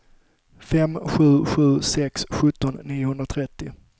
fem sju sju sex sjutton niohundratrettio